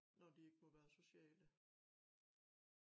Når de ikke må være sociale